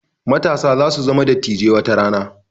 Matasa za su zama dattijai watarana